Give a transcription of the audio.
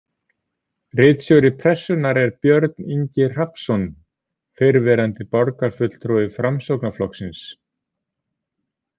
Ritstjóri Pressunnar er Björn Ingi Hrafnsson, fyrrverandi borgarfulltrúi Framsóknarflokksins.